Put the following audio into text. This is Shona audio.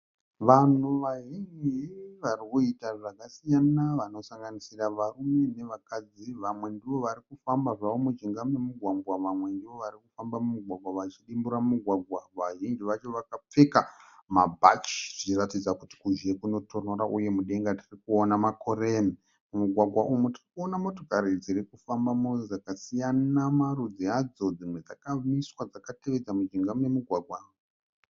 Vanhu vazhinji vari kuita zvakasiyana vanosanganisira varume navakadzi. Vamwe ndivo vari kufamba zvavo mujinga memugwagwa vamwe ndivo vari kufamba mumugwagwa vachidimbura mugwagwa. Vazhinji vacho vakapfeka mabhachi zvichiratidza kuti kuzhe kunotonhora uye mudenga tiri kuona makore. Mumugwagwa umu tiri kuona motokari dziri kufambamo dzakasiyana marudzi adzo. DZimwe dzakamiswa dzakateedza mujinga memugwagwa.